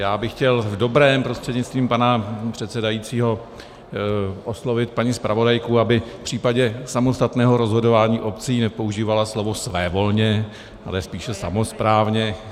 Já bych chtěl v dobrém prostřednictvím pana předsedajícího oslovit paní zpravodajku, aby v případě samostatného rozhodování obcí nepoužívala slovo svévolně, ale spíše samosprávně.